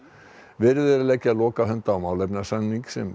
verið er að leggja lokahönd á málefnasamning sem